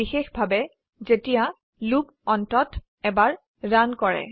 বিশেষভাবে যেতিয়া লুপ অন্তত এবাৰ ৰান কৰে